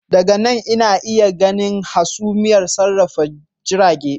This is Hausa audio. Daga nan ina iya ganin hasumiyar sarrafa jirage